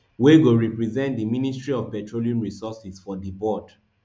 wey go represent di ministry of petroleum resources for di board